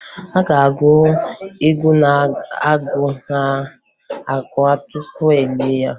A ga-agụ egwu na-agụ akwa tupu e lie ya